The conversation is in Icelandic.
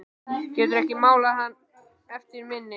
Geturðu ekki málað hann eftir minni?